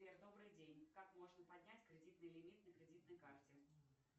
сбер добрый день как можно поднять кредитный лимит на кредитной карте